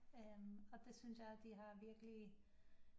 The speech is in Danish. Og det synes jeg de har virkelig